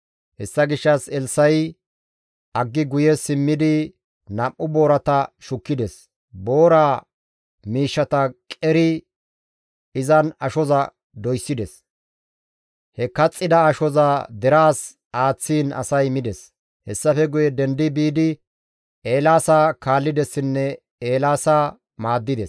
Hessa gishshas Elssa7i aggi guye simmidi nam7u boorata shukkides; boora miishshata qeridi izan ashoza doyssides; he kaxxida ashoza deraas aaththiin asay mides. Hessafe guye dendi biidi Eelaasa kaallidessinne Eelaasa maaddides.